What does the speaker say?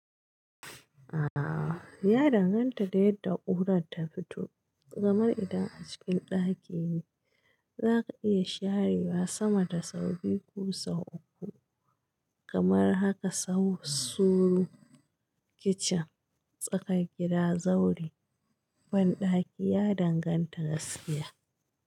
A'a, ya danganta da yadda ƙura ta fito. Kamar idan a cikin ɗaki ne, zaka iya sharewa sama da sau biyu ko sau uku. Kamar haka su kitchen, tsakar gida, zaure ya danganta gaskiya.